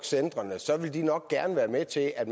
centrene ville de nok gerne være med til at